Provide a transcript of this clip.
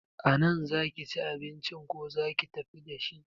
A nan za ki ci abincin ko za ki tafi dashi?